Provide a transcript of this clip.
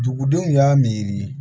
Dugudenw y'a miiri